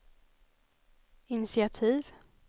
initiativ